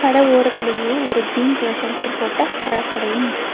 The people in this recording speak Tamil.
கட ஓரத்திலேயே ஒரு கிரீன் கலர் ஷெல்ட்டர் போட்ட பழகடையும் இருக்கு.